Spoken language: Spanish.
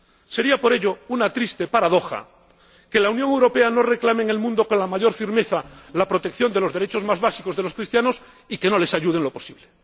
Sería, por ello, una triste paradoja que la Unión Europea no reclame en el mundo, con la mayor firmeza, la protección de los derechos más básicos de los cristianos y que no les ayude en lo posible.